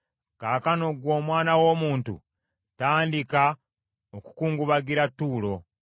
“Kaakano, ggwe omwana w’omuntu tandika okukungubagira Ttuulo.